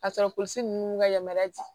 Ka sɔrɔ polisi ninnu ka yamaruya di